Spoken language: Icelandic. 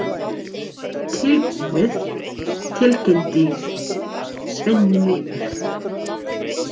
Þetta er tilbúið, tilkynnti Svenni móður.